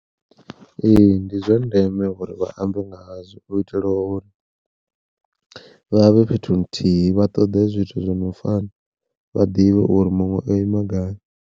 Ee ndi zwa ndeme uri vhaambe nga hazwo u itela uri vhavhe fhethu nthihi vha ṱoḓe zwithu zwi no fana, vha ḓivhe uri muṅwe o ima gai.